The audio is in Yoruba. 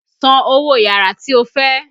San owó yàrá tí o fẹ́!